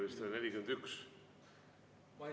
Eile oli vist 41.